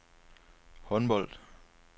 håndbold